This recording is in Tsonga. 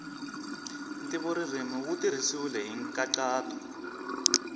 ntivoririmi wu tirhisiwile hi nkhaqato